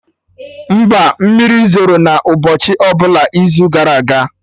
Mba, mmiri zoro na ụbọchị ọbụla izu gara aga